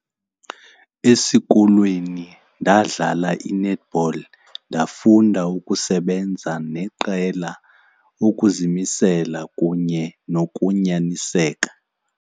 Esikolweni ndadlala i-netball, ndafunda ukusebenza neqela ukuzimisela kunye nokunyaniseka.